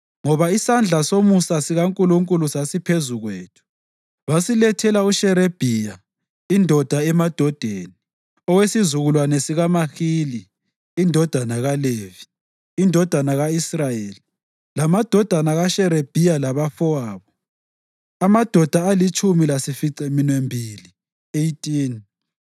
Ngoba isandla somusa sikaNkulunkulu sasiphezu kwethu, basilethela uSherebhiya, indoda emadodeni, owesizukulwane sikaMahili indodana kaLevi, indodana ka-Israyeli, lamadodana kaSherebhiya labafowabo, amadoda alitshumi lasificaminwembili (18);